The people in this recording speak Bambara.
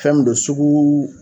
Fɛn min don suguu